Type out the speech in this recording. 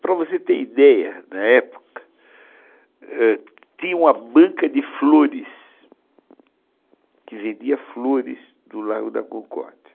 Para você ter ideia, na época, tinha uma banca de flores, que vendia flores do Largo da Concórdia.